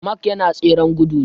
Mark yana tseren gudu ne